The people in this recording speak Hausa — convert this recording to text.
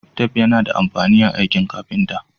Tef yAna da amfani a aiki carpenter